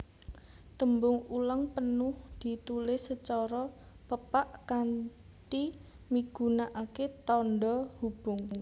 Tembung ulang penuh ditulis sacara pepak kanthi migunakaké tandha hubung